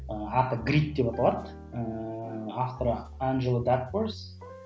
ы аты грип деп аталады ыыы авторы анжела дакворс